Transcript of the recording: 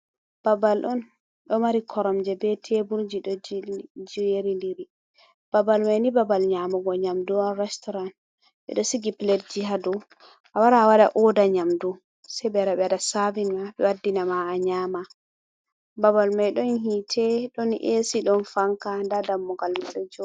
Babal on ɗo mari koromje be tebulji ɗo jerin diri, babal mai ni babal nyamugo nyamdu on restaurant, ɓe ɗo sigi pledji ha dou a wara a waɗa oda nyamdu sai ɓe wara ɓe waɗa savin ma ɓe waddina ma a nyama. Babal mai ɗon hitte, ɗon esi, ɗon fanka, nda dammugal mai.